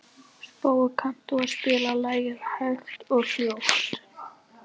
Spói, kanntu að spila lagið „Hægt og hljótt“?